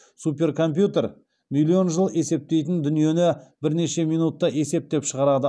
суперкомпьютер миллион жыл есептейтін дүниені бірнеше минутта есептеп шығарады